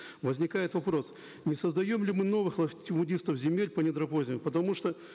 возникает вопрос не создаем ли мы новых латифундистов земель по недропользованию потому что